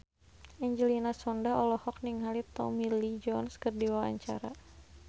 Angelina Sondakh olohok ningali Tommy Lee Jones keur diwawancara